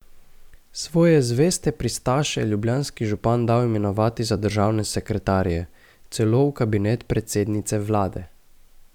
Svoje zveste pristaše je ljubljanski župan dal imenovati za državne sekretarje, celo v kabinet predsednice vlade.